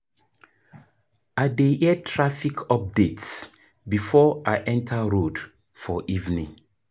I dey hear traffic updates before I enta road for evening.